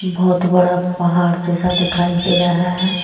बहुत बड़ा पहाड़ जैसा दिखाई दे रहा है।